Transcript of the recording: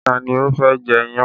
Ta ni ó fẹ́ jẹ iyán?